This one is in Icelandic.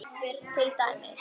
Til dæmis